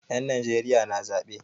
Yan Najeriya na zaɓe.